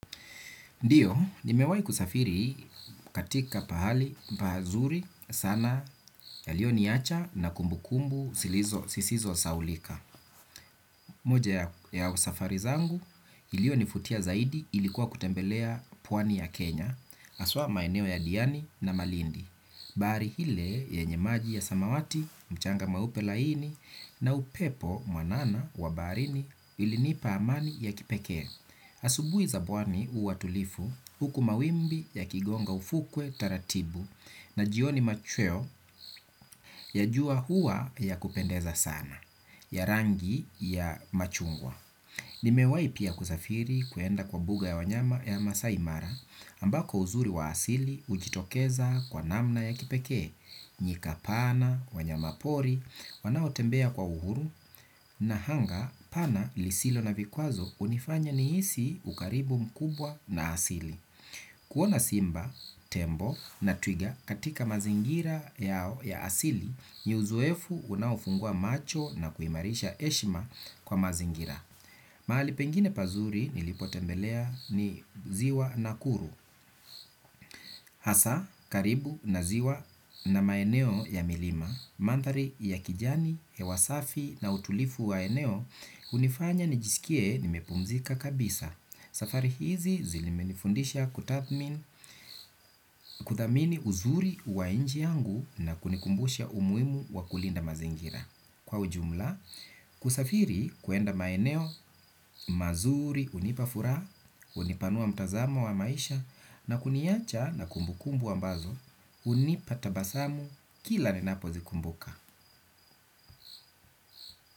Ndiyo, nimewai kusafiri katika pahali pahazuri sana yalio niacha na kumbu kumbu sisizo sahaulika. Moja ya usafari zangu, ilio nivutia zaidi ilikuwa kutembelea pwani ya Kenya, haswa maeneo ya diani na malindi. Bahari ile yenye maji ya samawati, mchanga mweupe laini na upepo mwanana wa baharini ilinipa amani ya kipekee. Asubuhi za pwani huwa tulivu huku mawimbi ya kigonga ufukwe taratibu na jioni machweo ya jua huwa ya kupendeza sana. Ya rangi ya machungwa nimewai pia kusafiri kuenda kwa buga ya wanyama ya maasai mara ambako uzuri wa asili ujitokeza kwa namna ya kipekee nyika pana, wanyamapori, wanao tembea kwa uhuru na hanga pana lisilo na vikwazo unifanya nihisi ukaribu mkubwa na asili. Kuona simba, tembo na twiga katika mazingira yao ya asili, ni uzoefu unaofungua macho na kuimarisha heshima kwa mazingira. Mahali pengine pazuri nilipo tembelea ni ziwa nakuru, hasa karibu na ziwa na maeneo ya milima, manthari ya kijani, hewa safi na utulivu wa eneo unifanya nijisikie nimepumzika kabisa. Safari hizi zilimenifundisha kutathmin kuthamini uzuri wa nchi yangu na kunikumbusha umuhimu wa kulinda mazingira. Kwa ujumla, kusafiri kwenda maeneo, mazuri, unipafuraha, unipanua mtazamo wa maisha, na kuniacha na kumbukumbu ambazo, unipa tabasamu kila ninapo zikumbuka.